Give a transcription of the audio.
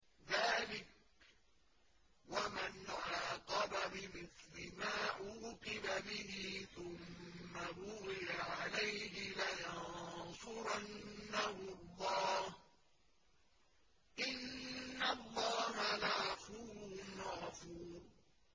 ۞ ذَٰلِكَ وَمَنْ عَاقَبَ بِمِثْلِ مَا عُوقِبَ بِهِ ثُمَّ بُغِيَ عَلَيْهِ لَيَنصُرَنَّهُ اللَّهُ ۗ إِنَّ اللَّهَ لَعَفُوٌّ غَفُورٌ